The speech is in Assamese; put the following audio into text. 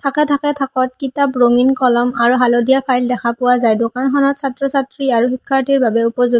থাকে থাকত কিতাপ ৰঙীণ কলম আৰু হালধীয়া ফাইল দেখা পোৱা যায় দোকানখনত ছাত্ৰ ছাত্ৰী আৰু শিক্ষাৰ্থীৰ বাবে উপযোগ --